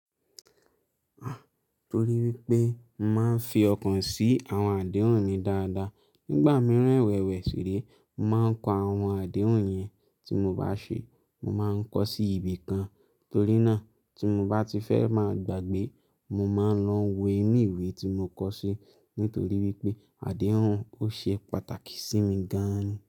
Torí wípé mo máa ń fi ọkàn sí àwọn àdéhùn mi dáadáa. Nígbà mìíràn ewẹ̀wẹ̀ sírẹ̀, mo màá ń kọ àwọn àdéhùn yẹn. Tí mo bá ṣe, mo màá ń kọ sí ibì kan torí náà tí mo bá ti fẹ́ máa gbàgbé, mo máa ń lọ wo inú ìwé tí mo kọ ṣe nítorí wípé àdéhùn ó ṣe pàtàkì sí mi gan-an.